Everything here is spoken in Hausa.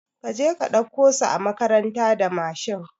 Kaje ka ɗauko su a makaranta da Mashin